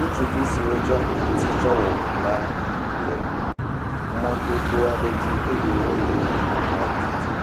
Ŋutsuvi siwo tsɔ ati tsɔ wɔ ŋu la, le mɔdodo aɖe dzi eye wole ŋu la tutum,